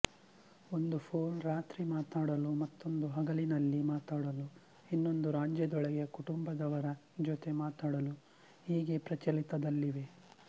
ಒಂದು ಫೋನ್ ರಾತ್ರಿಮಾತಾಡಲು ಮತ್ತೊಂದು ಹಗಲಿನಲ್ಲಿ ಮಾತಾಡಲು ಇನ್ನೊಂದು ರಾಜ್ಯದೊಳಗೆ ಕುಟುಂಬದವರ ಜೊತೆ ಮಾತಾಡಲು ಹೀಗೆ ಪ್ರಚಲಿತದಲ್ಲಿವೆ